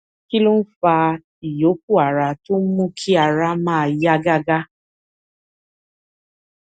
kí ló ń fa ìyókù ara tó ń mú kí ara máa yá gágá